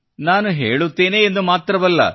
ನಾನು ಹೇಳುತ್ತೇನೆ ಎಂದು ಮಾತ್ರವಲ್ಲ